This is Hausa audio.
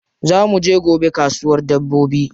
Za mu je gobe kasuwar dabbobi.